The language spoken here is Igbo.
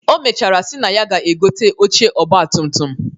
O mechara si na ya ga-egote oche ọgbatumtum